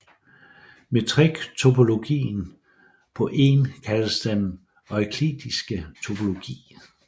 Metriktopologien på En kaldes den euklidiske topologi